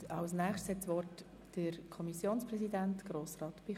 Das Wort hat der Kommissionspräsident, Grossrat Bichsel.